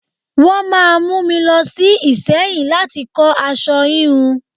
Wọ́n máa mú mi lọ sí Ìsẹ́yìn láti kọ aṣọ híhun.